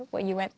og ég veit